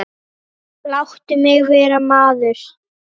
Láttu mig vera maður.